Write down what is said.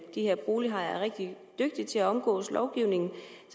her bolighajer er rigtig dygtige til at omgå lovgivningen